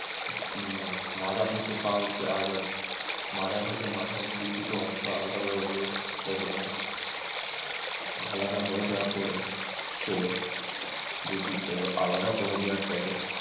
মানে মাজা থেকে বা অব্দি এবং মাজা থেকে মাথা অব্দি দুটো অংশ আলাদা হয়ে গেল। এবং আলাদা হয়ে যাওয়ার পরে সে দুটিকে আলাদা করে দেওয়ার পরে